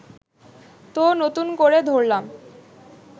তো নতুন করে ধরলাম